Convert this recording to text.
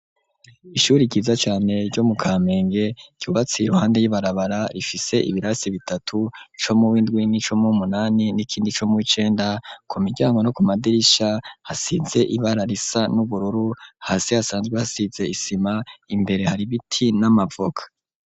Ishuri ryiza cane, ryo mu kamenge ,ryubatse iruhande y'ibarabara, rifise ibirasi bitatu ,co mu w'indwi, ni co muwunani ,n'ikindi co mu w'icenda ,ku miryango no ku madirisha hasize ibararisa n'ubururu, hasi hasanzwe hasize isima ,imbere hari biti n'amavoka.